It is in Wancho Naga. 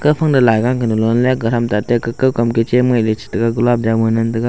gapha nang laiga kanun lonley gathram tate ka kawkam kechem eley chetega gulab jamun ngan taiga.